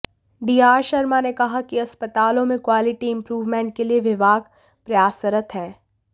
D R Sharma ने कहा कि अस्पतालों में क्वालिटी इंप्रूवमेंट के लिए विभाग प्रयासरत है